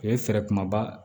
O ye fɛɛrɛ kumaba